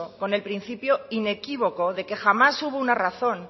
con el principio inequívoco de que jamás hubo una razón